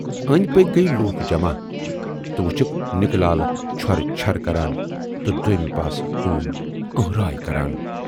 ٲندۍ پٔکۍ گٔیہِ لوٗکھ جمع تہٕ وُچھُکھ نِکہٕ لال چھۅرٕ چھۅرٕ کران تہٕ دویمہِ پاسہٕ ہوٗن ٲنہہ راے کران۔